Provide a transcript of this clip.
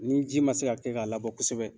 Ni ji ma se ka kɛ k'a labɔ kosɛbɛ